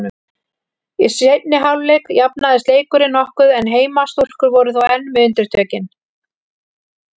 Í seinni hálfleik jafnaðist leikurinn nokkuð en heimastúlkur voru þó enn með undirtökin.